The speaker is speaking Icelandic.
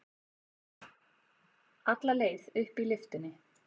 Alla leið upp í lyftunni.